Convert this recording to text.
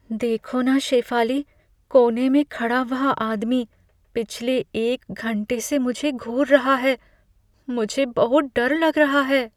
देखो न शेफाली! कोने में खड़ा वह आदमी पिछले एक घंटे से मुझे घूर रहा है। मुझे बहुत डर लग रहा है।